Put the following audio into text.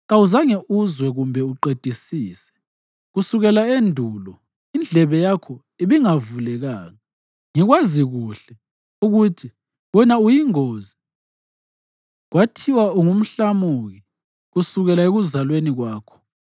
Kawuzange uzwe kumbe uqedisise; kusukela endulo indlebe yakho ibingavulekanga. Ngikwazi kuhle ukuthi wena uyingozi; kwathiwa ungumhlamuki kusukela ekuzalweni kwakho.